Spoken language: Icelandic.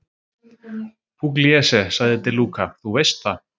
Pugliese, sagði De Luca, þú veist það.